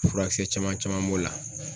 Furakisɛ caman caman b'o la.